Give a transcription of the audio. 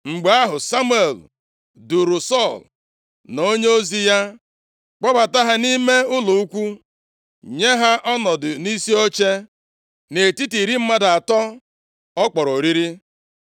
Mgbe ahụ, Samuel duuru Sọl na onyeozi ya kpọbata ha nʼime ụlọ ukwu, nye ha ọnọdụ nʼisi oche nʼetiti iri mmadụ atọ ọ kpọrọ oriri.